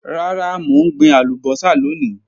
Rara, mo n gbin alubosa loni.